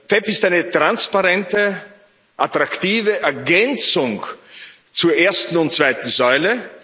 PEPP ist eine transparente, attraktive Ergänzung zur ersten und zweiten Säule.